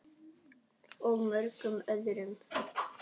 Og mörgum öðrum.